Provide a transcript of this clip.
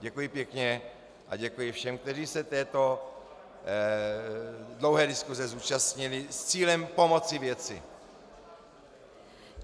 Děkuji pěkně a děkuji všem, kteří se této dlouhé diskuse zúčastnili s cílem pomoci věci.